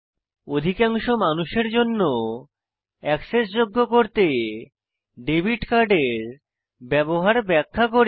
অধিকাংশ মানুষের জন্য অ্যাক্সেসযোগ্য করতে ডেবিট কার্ড এর ব্যবহার ব্যাখ্যা করি